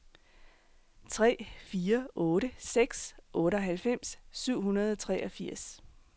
tre fire otte seks otteoghalvfems syv hundrede og treogfirs